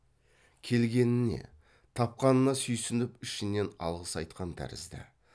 келгеніне тапқанына сүйсініп ішінен алғыс айтқан тәрізді